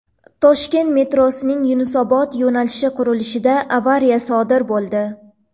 Toshkent metrosining Yunusobod yo‘nalishi qurilishida avariya sodir bo‘ldi.